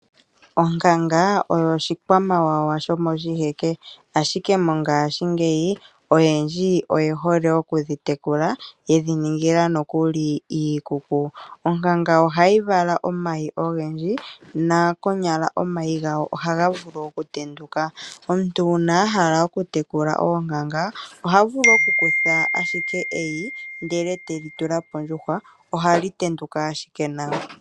Onkankanga osho oshikwamawawa shomo shi heke, ashike mongaashi ngeyi, oyendji oye hole okudhi tekula yedhi ningila iikuku. Onkankanga oha yi vala omayi ogendji no konyala omayi ngawo ohaga vulu okutenduka. Omuntu uuna ahala oku te kula oonkanga oha vulu ashike okukutha eyi lyonkankanga etelitula poshikololo shondjuhwa eta li tendwa.